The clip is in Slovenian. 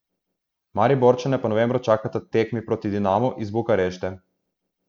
Mariborčane pa novembra čakata tekmi proti Dinamu iz Bukarešte.